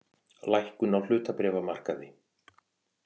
Lækkun á hlutabréfamarkaði